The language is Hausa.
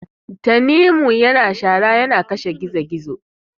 tanimu yana share yana ya kashe gizo gizo